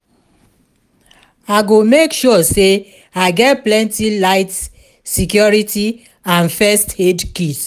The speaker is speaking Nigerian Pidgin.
I go make sure say i get plenty light security and first-aid kit